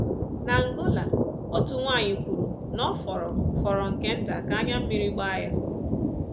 N’Angola, otu nwanyị kwuru na ọ fọrọ fọrọ nke nta ka anya mmiri gbaa ya.